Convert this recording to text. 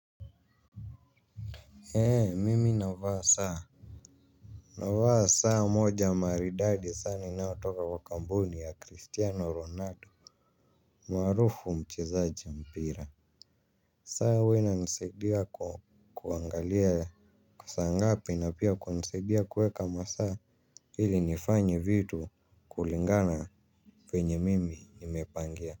Heee mimi navaa saa. Navaa saa moja maridadi saa inayotoka kwa kampuni ya cristiano ronado. Marufu mchezaji mpira. Saa huwa inanisaidia kuangalia saa ngapi na pia kunisaidia kuweka masaa hili nifanye vitu kulingana penye mimi nimepangea muziki.